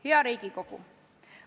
Hea Riigikogu!